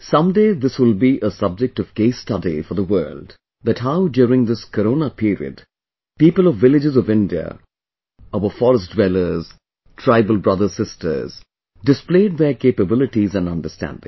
someday this will be a subject of case study for the world that how during this Corona period people of villages of India, our forest dwellerstribal brotherssisters, displayed their capabilities and understanding